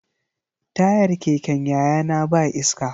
Tayar keken yayana ba iska.